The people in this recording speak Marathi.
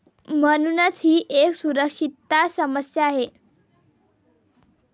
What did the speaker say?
म्हणूनच ही एक सुरक्षितता समस्या आहे.